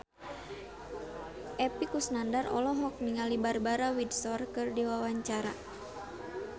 Epy Kusnandar olohok ningali Barbara Windsor keur diwawancara